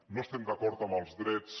no estem d’acord amb els drets